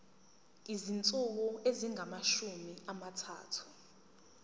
izinsuku ezingamashumi amathathu